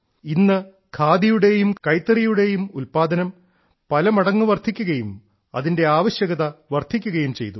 ഇന്ന് ഖാദിയുടെയും കൈത്തറിയുടെയും ഉൽപാദനം പലമടങ്ങ് വർദ്ധിക്കുകയും അതിന്റെ ആവശ്യകത വർദ്ധിക്കുകയും ചെയ്തു